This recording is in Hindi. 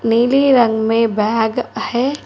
नीले रंग में बैग है।